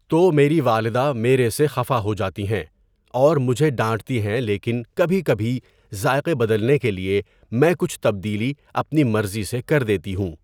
تو میری والدہ میرے سے خفا ہو جاتی ہیں اور مجھے ڈانٹتی ہے لیکن کبھی کبھی ذائقے بدلنے کے لیے میں کچھ تبدیلی اپنی مرضی سے کر دیتی ہوں.